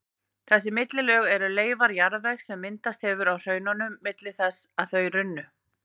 Þessi millilög eru leifar jarðvegs sem myndast hefur á hraununum milli þess að þau runnu.